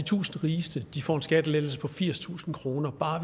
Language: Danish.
tusind rigeste får en skattelettelse på firstusind kroner bare